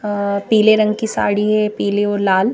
अ पीले रंग की साड़ी है पीले और लाल--